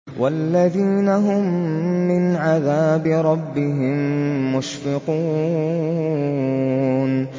وَالَّذِينَ هُم مِّنْ عَذَابِ رَبِّهِم مُّشْفِقُونَ